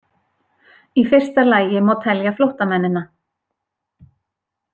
Í fyrsta lagi má telja flóttamennina.